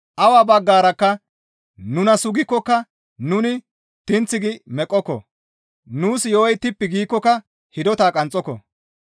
Awa baggarakka nuna sugikkoka nuni tinth gi meqqoko; nuus yo7oy tippi giikkoka hidota qanxxoko.